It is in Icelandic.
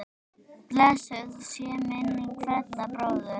Blessuð sé minning Fredda bróður.